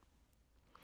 DR1